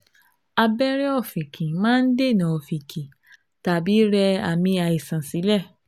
Abẹ́rẹ́ ọ̀fìnkì máa ń dènà ọ̀fìnkì tàbí rẹ àmì àìsàn sílẹ̀